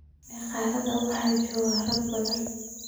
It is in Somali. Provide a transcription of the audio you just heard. Magaalada waxaa jooga rag badan.